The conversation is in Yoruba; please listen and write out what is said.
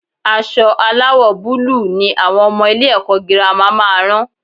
Aṣọ aláwò búlúù ni àwọn ọmọ ilé-ẹ̀kọ́ girama máa rán